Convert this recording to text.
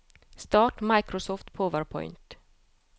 start Microsoft PowerPoint